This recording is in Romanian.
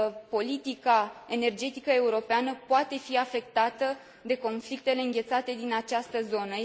Politica energetică europeană poate fi afectată de conflictele înghețate din această zonă.